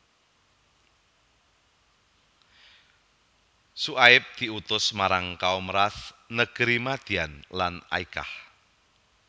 Syuaib diutus marang Kaum Rass negeri Madyan lan Aykah